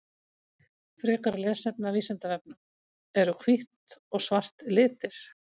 Frekara lesefni af Vísindavefnum: Eru hvítt og svart litir?